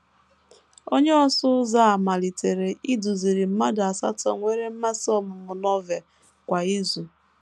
Onye ọsụ ụzọ a malitere iduziri mmadụ asatọ nwere mmasị ọmụmụ Novel kwa izu.